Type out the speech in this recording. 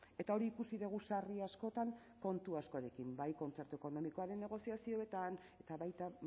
eta hori ikusi dugu sarri askotan kontu askorekin bai kontzertu ekonomikoaren negoziazioetan eta baita